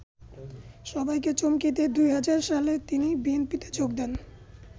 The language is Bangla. সবাইকে চমকে দিয়ে ২০০০ সালে তিনি বিএনপিতে যোগ দেন।